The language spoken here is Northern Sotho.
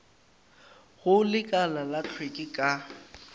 go lekala la hlweki ka